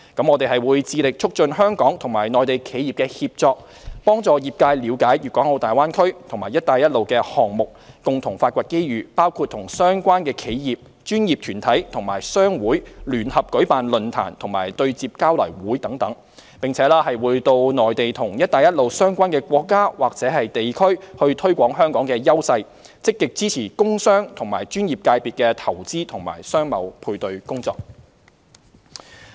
我們會致力促進香港與內地企業的協作，幫助業界了解大灣區及"一帶一路"的項目，共同發掘機遇，包括與相關企業、專業團體和商會聯合舉辦論壇及對接交流會等，並且會到內地和"一帶一路"相關國家或地區推廣香港的優勢，積極支持工商和專業界別的投資及商貿配對工作。